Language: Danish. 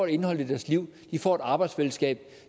indhold i deres liv de får et arbejdsfællesskab